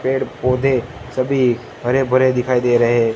पेड़ पौधे सभी हरे भरे दिखाई दे रहे--